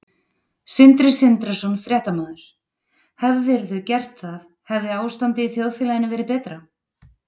Sindri Sindrason, fréttamaður: Hefðirðu gert það hefði ástandið í þjóðfélaginu verið betra?